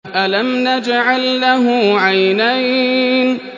أَلَمْ نَجْعَل لَّهُ عَيْنَيْنِ